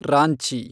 Ranchi